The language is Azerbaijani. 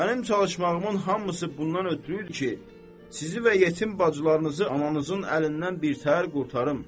mənim çalışmağımın hamısı bundan ötrü idi ki, sizi və yetim bacılarınızı ananızın əlindən birtəhər qurtarım.